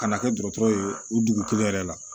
Ka na kɛ dɔgɔtɔrɔ ye o dugu kelen yɛrɛ la